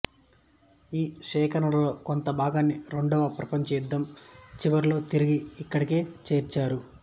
ఈ సేకరణలో కొంత భాగాన్ని రెండవ ప్రపంచ యుద్ధం చివరిలో తిరిగి ఇక్కడికే చేర్చారు